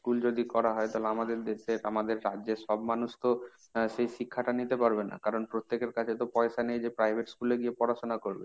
school যদি করা হয় তাহলে আমাদের দেশের, আমাদের রাজ্যর সব মানুষ তো সেই শিক্ষাটা নিতে পারবে না কারণ প্রত্যেকের কাছে তো পয়সা নেই যে private school এ গিয়ে পড়াশোনা করবে।